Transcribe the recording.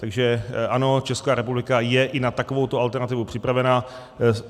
Takže ano, Česká republika je i na takovouto alternativu připravena.